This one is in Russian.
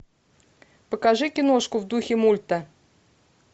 покажи киношку в духе мульта